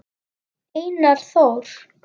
Einar Þór.